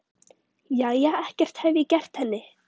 Jæja, ekkert hef ég gert henni.